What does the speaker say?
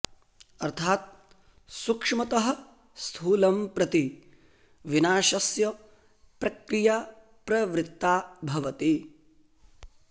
अर्थात् सूक्ष्मतः स्थूलं प्रति विनाशस्य प्रक्रिया प्रवृत्ता भवति